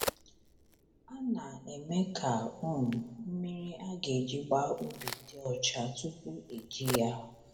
A na-eme ka um mmiri a ga-eji gbaa ubi dị ọcha tupu eji ya.